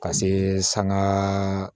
Ka see sanga